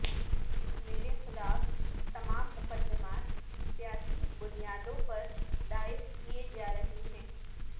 میرے خلاف تمام مقدمات سیاسی بنیادوں پر دائر کیے جا رہے ہیں